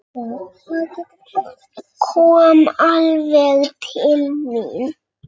Kom alveg til mín.